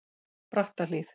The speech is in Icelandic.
Brattahlíð